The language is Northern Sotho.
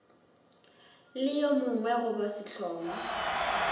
le yo mongwe goba sehlongwa